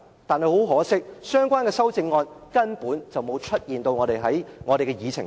但很可惜，相關修正案根本沒有出現在我們的議程上。